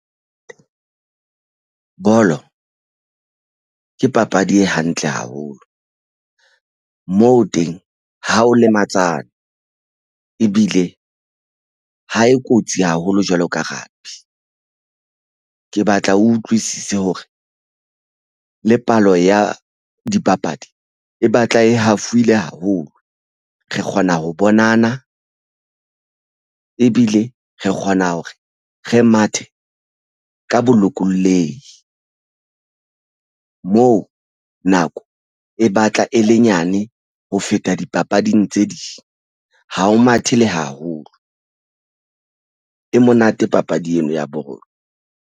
Bolo ke papadi e hantle haholo moo teng ha o lematsanwe ebile ha e kotsi haholo jwalo ka rugby. Ke batla o utlwisise hore le palo ya dipapadi e batla e hafoeile haholo. Re kgona ho bonana ebile re kgona hore re mathe ka bolokolehi moo nako e batla e le nyane ho feta dipapading tse ding. Ha o mathe le haholo e monate. Papadi ena ya bolo.